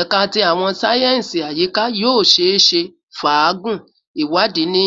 Ẹka ti Awọn sáyẹnsì Ayika yoo ṣeese faagun iwadii ni